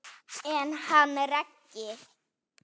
En hann Raggi?